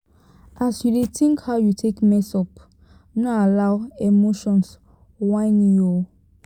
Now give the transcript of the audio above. as yu dey tink how you take mess up no allow emotions whine you o